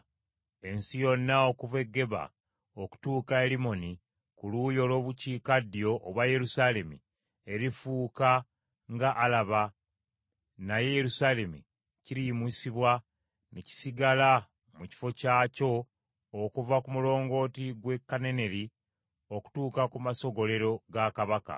Ensi yonna okuva e Geba okutuuka e Limmoni ku luuyi olw’obukiikaddyo obwa Yerusaalemi; erifuuka nga Alaba naye Yerusaalemi kiriyimusibwa ne kisigala mu kifo kyakyo okuva ku mulongooti gwe Kananeri okutuuka ku masogolero ga kabaka.